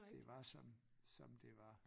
Det var sådan som det var